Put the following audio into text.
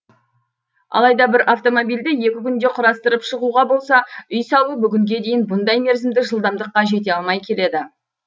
алайда бір автомобильді екі күнде құрастырып шығуға болса үй салу бүгінге дейін бұндай мерзімдік жылдамдыққа жете алмай келеді